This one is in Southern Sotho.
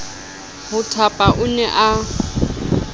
ho thapa o ne a